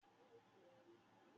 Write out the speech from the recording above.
Bẹ́ẹ̀ni, màá mu mílíìkì.